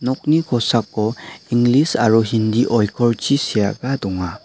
nokni kosako inglis aro hindi oikorchi seaba donga.